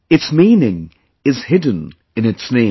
Its meaning is hidden in its name